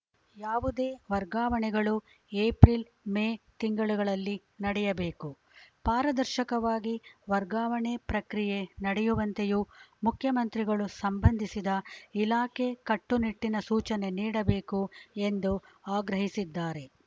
ಯಾವುದೇ ವರ್ಗಾವಣೆಗಳು April May ತಿಂಗಳುಗಳಲ್ಲಿ ನಡೆಯಬೇಕು ಪಾರದರ್ಶಕವಾಗಿ ವರ್ಗಾವಣೆ ಪ್ರಕ್ರಿಯೆ ನಡೆಯುವಂತೆಯೂ ಮುಖ್ಯಮಂತ್ರಿಗಳು ಸಂಬಂಧಿಸಿದ ಇಲಾಖೆ ಕಟ್ಟುನಿಟ್ಟನ ಸೂಚನೆ ನೀಡಬೇಕು ಎಂದು ಆಗ್ರಹಿಸಿದ್ದಾರೆ